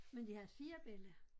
Men de havde 4 bella